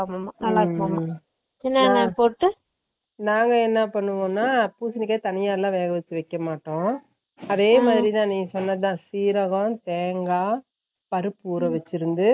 நல்ல இருக்கும்மா சின்ன வெங்காயம் போட்டு நாங்க என்ன பன்னுவோம்னா பூசினிக்கா தனியல வெக வெக்கமாட்டோம் அதேமாதிரி நீ சொன்னதுதா சீரகம் தேங்கா பருப்பு ஊற வெச்சுருந்து